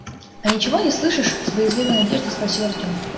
а ничего не слышишь с боязливой надеждой спросил артём